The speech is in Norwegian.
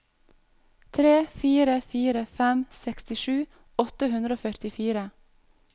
tre fire fire fem sekstisju åtte hundre og førtifire